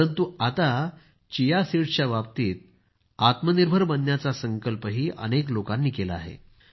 परंतु आता chia seeds बाबतीत आत्मनिर्भर बनण्याचा संकल्पही अनेक लोकांनी केला आहे